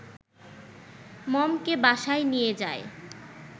মমকে বাসায় নিয়ে যায়